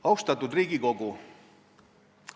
Austatud Riigikogu!